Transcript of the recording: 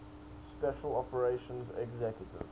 special operations executive